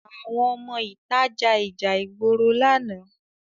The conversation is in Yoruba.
Àwọn ọmọ ìta ja ìjà ìgboro lánàá